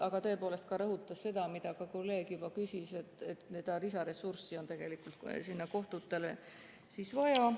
Aga tõepoolest ka rõhutas seda, mida kolleeg juba küsis, kas seda lisaressurssi on tegelikult kohtutele vaja.